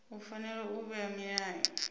u fanela u vhea milayo